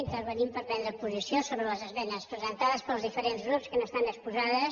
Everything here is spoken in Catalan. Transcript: intervenim per prendre posició sobre les esmenes presentades pels diferents grups que han estat exposades